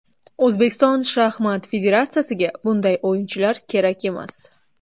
O‘zbekiston shaxmat federatsiyasiga bunday o‘yinchilar kerak emas!